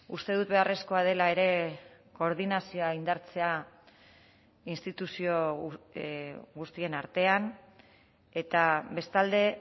uste dut beharrezkoa dela ere koordinazioa indartzea instituzio guztien artean eta bestalde